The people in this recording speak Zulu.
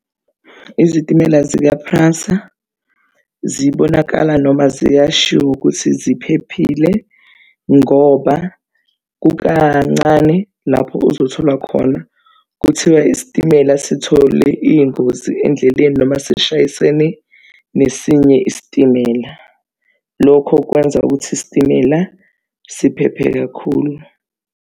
Izitimela zika-PRASA zibonakala noma ziyashiwo ukuthi ziphephile ngoba kukancane lapho uzothola khona kuthiwa isitimela sithole iy'ngozi endleleni noma sishayisene nesinye isitimela. Lokho kwenza ukuthi isitimela siphephe kakhulu.